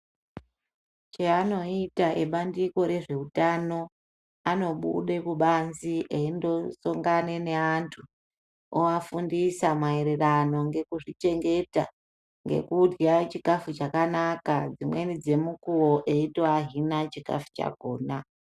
Cheanoita ebandiko rezveutano anobude kubanze eindosongane neantu oafundisa maererano nekuzvi chengeta ngekudya chikafu chakana dzimweni dzemukuwo eito ahina chikafu chakona